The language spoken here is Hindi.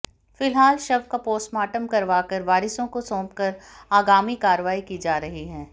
फिलहाल शव का पोस्टमार्टम करवाकर वारिसों को सौंपकर आगामी कार्रवाई की जा रही है